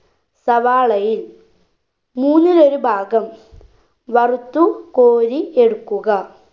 സവാളയിൽ മൂന്നിലൊരു ഭാഗം വറുത്തു കോരി എടുക്കുക